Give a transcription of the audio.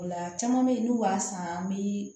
O la caman beyi n'u b'a san an bi